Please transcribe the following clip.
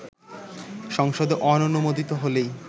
সংসদে অনুমোদিত হলেই